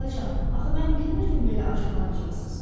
Xalacan, axı mən bilmirdim belə acıqlanacaqsız.